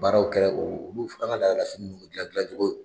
Baaraw kɛra olu gilan gilan cogo.